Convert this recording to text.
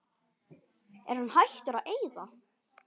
Er hann hættur að eyða?